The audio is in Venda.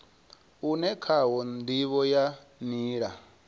une khawo ndivho ya nila